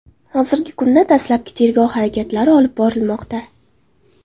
Hozirgi kunda dastlabki tergov harakatlari olib borilmoqda.